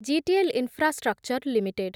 GTL infrastructure limited